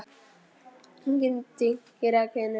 Engir dynkir eða hvinur.